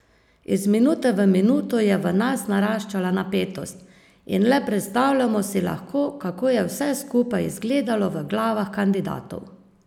Iz minute v minuto je v nas naraščala napetost in le predstavljamo si lahko, kako je vse skupaj izgledalo v glavah kandidatov.